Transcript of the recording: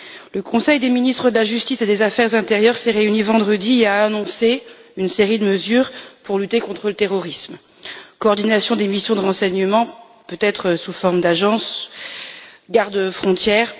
Le Conseil des ministres de la justice et des affaires intérieures s'est réuni vendredi et a annoncé une série de mesures pour lutter contre le terrorisme coordination des missions de renseignement, peut être sous forme d'agences, gardes frontières.